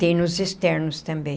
Tem nos externos também.